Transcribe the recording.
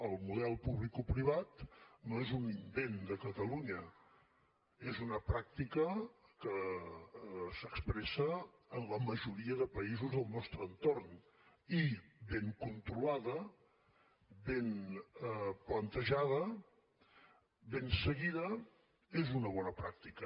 el model publicoprivat no és un invent de catalunya és una pràctica que s’expressa en la majoria de països del nostre entorn i ben controlada ben plantejada ben seguida és una bona pràctica